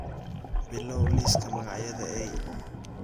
bilow liiska magacyada eey